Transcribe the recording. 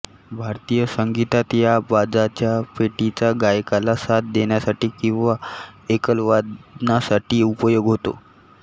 भारतीय संगीतात या बाजाच्या पेटीचा गायकाला साथ देण्यासाठी किंवा एकलवादनासाठी उपयोग होतो